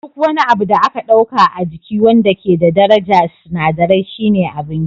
Duk wani abu da aka ɗauka a jiki wanda ke da darajar sinadirai shine abinci